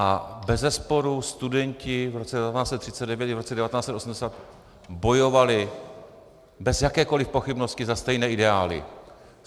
A bezesporu, studenti v roce 1939 i v roce 1989 bojovali bez jakékoliv pochybnosti za stejné ideály.